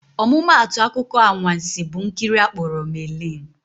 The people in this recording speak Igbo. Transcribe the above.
Ọmụmaatụ akụkọ anwansị bụ nkiri akpọrọ "Merlin."